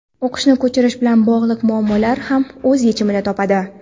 o‘qishni ko‘chirish bilan bog‘liq muammolar ham o‘z yechimini topadi.